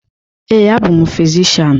Ee, abụ m fizishian.